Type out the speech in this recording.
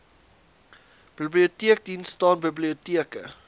biblioteekdiens staan biblioteke